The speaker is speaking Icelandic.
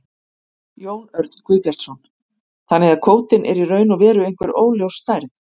Jón Örn Guðbjartsson: Þannig að kvótinn er í raun og veru einhver óljós stærð?